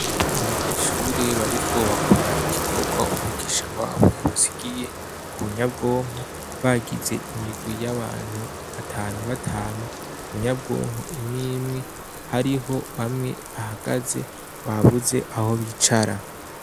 Abanyeshure bariko bakora igikobwa umuigisha wabo yabasigiye ku nyabwonko bagize imigwi y'abantu batanu batanu ku nyabwonko imwimwe hariho bamwe bahagaze babuze aho bicara.